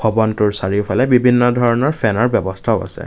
ভৱনটোৰ চাৰিওফালে বিভিন্ন ধৰণৰ ফেনৰ ব্যৱস্থাও আছে।